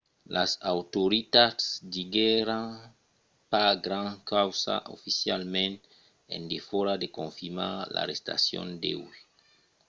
las autoritats diguèron pas grand causa oficialament en defòra de confirmar l’arrestacion d’uèi